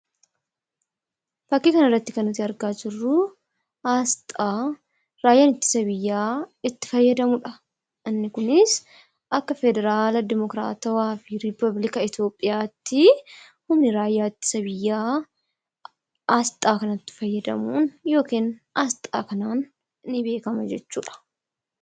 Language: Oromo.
Fakkii kana irratti kan argaa jirru aasxaa raayyaa ittisa biyyaa itti fayyadamudha. Inni kunis akka Federalawaafi Dimokiraatawaa Rippablika Itoophiyaatti humni raayyaa ittisa biyyaa aasxaa kanatti fayyadamuun yookiin aasxaa kanaan ni beekama jechuudha.